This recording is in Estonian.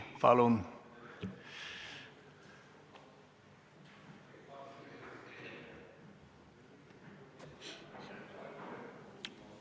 Palun!